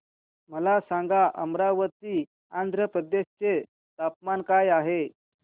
मला सांगा अमरावती आंध्र प्रदेश चे तापमान काय आहे